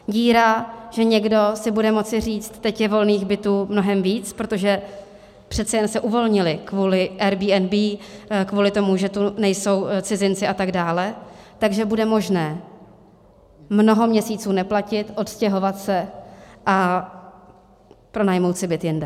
Díra, že někdo si bude moci říct, teď je volných bytů mnohem víc, protože přece jen se uvolnily kvůli Airbnb, kvůli tomu, že tu nejsou cizinci a tak dále, takže bude možné mnoho měsíců neplatit, odstěhovat se a pronajmout si byt jinde.